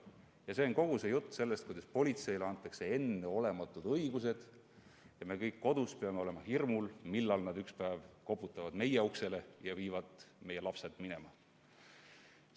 See käib kogu selle jutu kohta, kuidas politseile antakse enneolematud õigused ja me kõik peame olema kodus hirmul, millal politsei ükspäev meie uksele koputab ja meie lapsed minema viib.